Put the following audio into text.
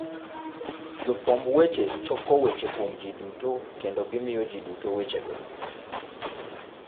Jofwamb weche choko weche kuom ji duto kendo gimiyo ji duto wechego.